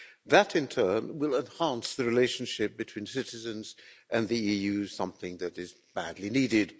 That, in turn, will enhance the relationship between citizens and the EU something that is badly needed.